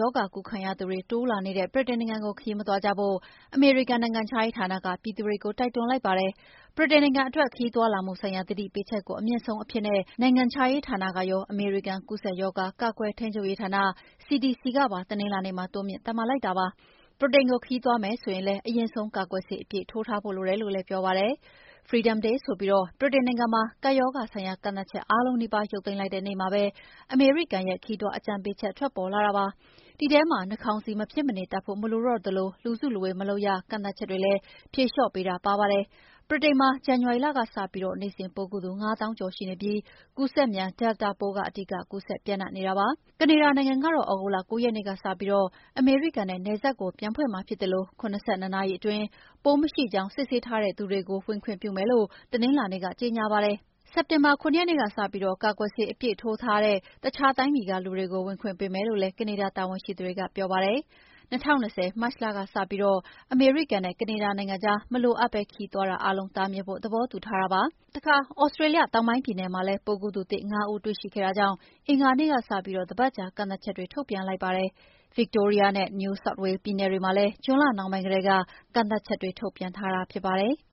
ရောဂါကူးခံရသူတွေတိုးလာနေတဲ့ ဗြိတိန်နိုင်ငံကိုခရီးမသွားကြဖို့ အမေရိကန်နိုင်ငံခြားရေးဌာနက ပြည်သူတွေကို တိုက်တွန်းလိုက်ပါတယ်။ ဗြိတိန်နိုင်ငံအတွက် ခရီးသွားလာမှုဆိုင်ရာသတိပေးချက်ကို အမြင့်ဆုံးအဖြစ် နိုင်ငံခြားရေးဌာနကရော အမေရိကန် ကူုးစက်ရောဂါ ကာကွယ်ထိန်းချုပ်ရေးဌာန CDC ကပါ တနင်္လာနေ့မှာ တိုးမြှင့်သတ်မှတ်လိုက်တာဖြစ်ပါတယ်။ ဗြိတိန်ကိုခရီးသွားမယ်ဆိုရင်လည်း အရင်ဆုံး ကာကွယ်ဆေးအပြည့်ထိုးထားဖို့လိုတယ်လို့လည်း ပြောပါတယ်။ "Freedom Day" ဆိုပြီး ဗြိတိန်နိုင်ငံမှာ ကပ်ရောဂါဆိုင်ရာကန့်သတ်ချက်အားလုံးနီးပါး ရုပ်သိမ်းလိုက်တဲ့နေ့မှာပဲ အမေရိကန်ရဲ့ ခရီးသွားအကြံပေးချက်ထွက်ပေါ်လာတာဖြစ်ပါတယ်။ ဒီထဲမှာ နှာခေါင်းစည်း မဖြစ်မနေတပ်ဖို့မလိုတော့သလို လူစုလူဝေးမလုပ်ရကန့်သတ်ချက်တွေလည်း ဖြေလျော့ပေးတာလည်းပါပါတယ်။ ဗြိတိန်မှာ ဇန်နဝါရီလကစပြီးနေ့စဉ်ပိုးကူးသူ ၅ သောင်းကျော်ရှိနေပြီး ကူးစက်မြန် Delta ပိုး အဓိကကူးစက်နေတာပါ။ ကနေဒါနိုင်ငံကတော့ သြဂုတ်လ ၉ ရက်နေ့ကပြီး အမေရိကန်နဲ့နယ်စပ်ကိုပြန်ဖွင့်မှာဖြစ်သလို ၇၂ နာရီအတွင်း ပိုးမရှိကြောင်း ဆေးစစ်ထားတဲ့သူတွေကို ဝင်ခွင့်ပြုမယ်လို့ တနင်္လာနေ့က ကြေငြာပါတယ်။ စက်တင်ဘာ ၇ ရက်နေ့ကစပြီး ကာကွယ်ဆေးအပြည့်ထိုးထားသူတဲ့ တခြားတိုင်းပြည်ကလူတွေကို ဝင်ခွင့်ပေးမယ်လို့လည်းကနေဒါ တာဝန်ရှိသူတွေကပြောပါတယ်။ ၂၀၂၀ မတ်လကစပြီး အမေရိကန်နဲ့ ကနေဒါနိုင်ငံကြားမလိုအပ်ပဲ ခရီးသွားတာအားလုံးတားမြစ်ဖို့ သဘောတူထားတာပါ။ တခါသြစတေးလျ တောင်ပိုင်းပြည်နယ်မှာလည်းပိုးကူးသူသစ် ၅ ဦးတွေ့ရှိခဲ့တာကြောင့် အင်္ဂါနေ့ကစပြီး တပတ်ကြာကန့်သတ်ချက်တွေ ပြန်လိုက်ပါတယ်။ Victoria နဲ့ New South Wales ပြည်နယ်တွေမှာလည်း ဂျွန်လနှောင်းပိုင်းကတည်းက ကန့်သတ်ချက်တွေထုတ်ပြန်ထားတာဖြစ်ပါတယ်။